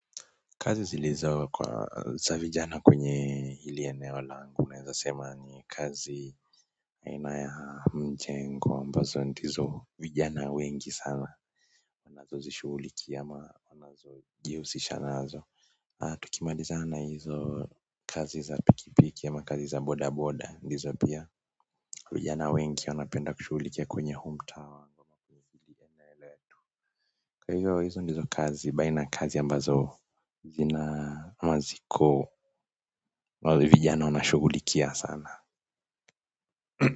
Kazi zilizo kuwa za vijana kwenye ili eneo langu unaweza sema ni kazi aina ya mjengo ambazo ndizo vijana wengi sana huzishughulikia ama hujihusisha nazo tukimalizana na hizo kazi za pikipiki ama kazi za bodaboda ndizo pia vijana wengi wanapenda kushughulikia kwenye huu mtaa kwa hivo hizo ndizo kazi baina kazi ambazo zina ama ziko vijana wanashughulikia sana.